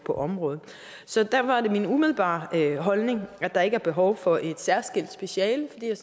på området så derfor er det min umiddelbare holdning at der ikke er behov for et særskilt speciale fordi jeg